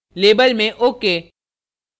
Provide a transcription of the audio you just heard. label में ok